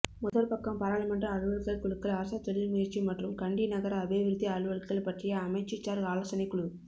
முதற்பக்கம் பாராளுமன்ற அலுவல்கள் குழுக்கள் அரச தொழில்முயற்சி மற்றும் கண்டி நகர அபிவிருத்தி அலுவல்கள் பற்றிய அமைச்சுசார் ஆலோசனைக் குழு